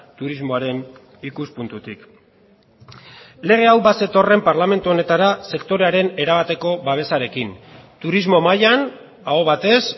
turismoaren ikuspuntutik lege hau bazetorren parlamentu honetara sektorearen erabateko babesarekin turismo mailan aho batez